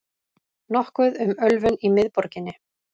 Nokkuð um ölvun í miðborginni